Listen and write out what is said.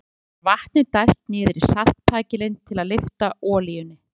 Jafnframt er vatni dælt niður í saltpækilinn til að lyfta olíunni.